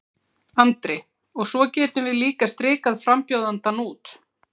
Andri: Og svo getum við líka strikað frambjóðandann út?